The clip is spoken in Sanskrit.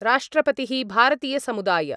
राष्ट्रपतिः भारतीयसमुदाय